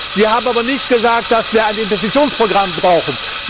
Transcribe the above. Sie haben aber nicht gesagt, dass wir ein Investitionsprogramm brauchen.